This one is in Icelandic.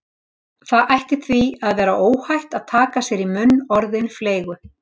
Það ætti því að vera óhætt að taka sér í munn orðin fleygu